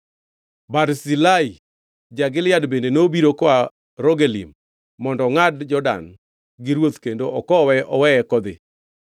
Barzilai ja-Gilead bende nobiro koa Rogelim mondo ongʼad Jordan gi ruoth kendo okowe oweye kodhi.